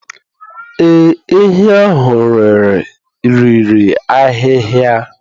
Ee, ehi ahụ riri ahịhịa